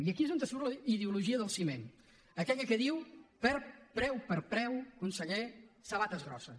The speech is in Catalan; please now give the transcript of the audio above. i aquí és on surt la ideologia del ciment aquella que diu preu per preu conseller sabates grosses